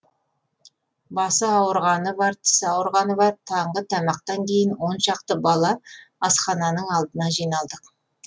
басы ауырғаны бар тісі ауырғаны бар таңғы тамақтан кейін он шақты бала асхананың алдына жиналдық